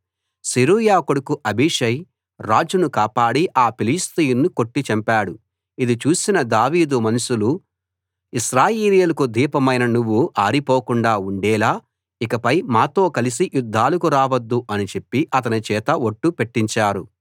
సెరూయా కొడుకు అబీషై రాజును కాపాడి ఆ ఫిలిష్తీయుణ్ణి కొట్టి చంపాడు ఇది చూసిన దావీదు మనుషులు ఇశ్రాయేలీయులకు దీపమైన నువ్వు ఆరిపోకుండా ఉండేలా ఇకపై మాతో కలసి యుద్ధాలకు రావద్దు అని చెప్పి అతని చేత ఒట్టు పెట్టించారు